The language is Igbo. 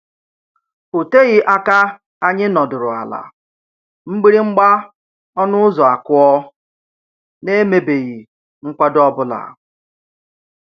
O teghị aka anyị nọdụrụ ala mgbịrị mgba ọnụ ụzọ akụọ, n'emebeghị nkwado ọ bụla.